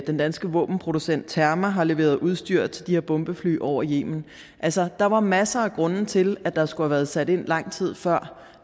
den danske våbenproducent terma har leveret udstyr til de her bombefly over yemen altså der var masser af grunde til at der skulle have været sat ind lang tid før